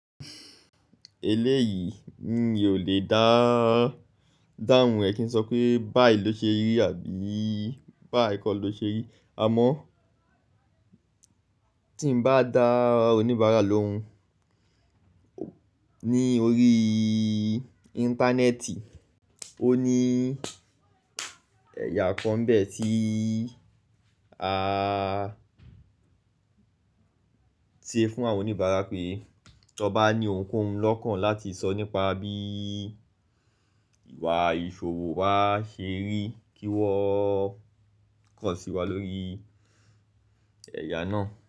Eleyii mi ò lè dáhùn ẹ kí n sọ pé báyi ló ṣe rí àbí báyìí kọ ló ṣe rí. Àmọ́ tí n bá dá oníbàárà lóhùn ní orí íńtánẹ́ẹ̀tì, ó ní ẹ̀yà kan bẹ́ẹ̀ tí a ṣe fún àwọn oníbàárà pé, tọba ní ohunkóhun lọ́kàn láti sọ nípa bí ìwà ìṣòwò wa ṣe rí kí wọ́n kàn sí wa lórí ẹ̀yà náà.